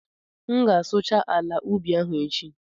M ga-asụcha ala ubi ahụ echi